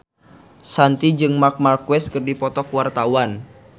Shanti jeung Marc Marquez keur dipoto ku wartawan